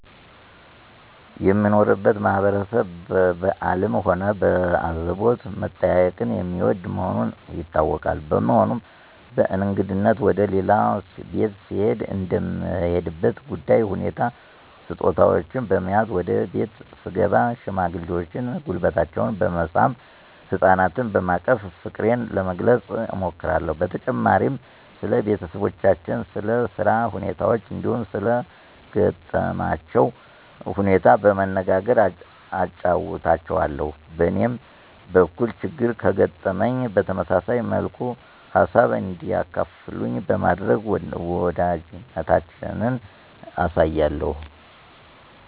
የምኖርበት ማህበረሰብ በበአልም ሆነ በአዘቦት መጠያየቅን የሚወድ መሆኑ ይታወቃል። በመሆኑም በእንግድነት ወደ ሌላ ቤት ስሄድ እንደምሄድበት ጉዳይ ሁኔታ ስጦታወችን በመያዝ ወደ ቤት ስገባ ሽማግሌዎችን ጉልበታቸውን በመሳም፣ ህጻናትና በማቀፍ ፍቅሬን ለመግለጽ እሞክራለሁ። በተጨማሪም ስለ ቤተሰባቸው፣ ስለ ስራ ሁኔታቸው እንዲሁም ሰለ ገጠማቸው ሁኔታ በመነጋገር አጫዉታቸዋለሁ። በእኔም በኩል ችግር ከገጠመኝ በተመሳሳይ መልኩ ሃሳብ እንዲያካፍሉኝ በማድረግ ወዳጅነታችንን አሳያለሁ።